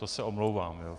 To se omlouvám.